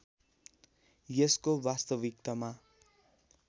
यसको वास्तविकतामा